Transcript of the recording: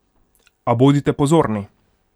A bodite pozorni!